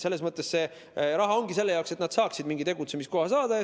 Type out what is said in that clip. See raha ongi selle jaoks, et nad saaksid mingi tegutsemiskoha.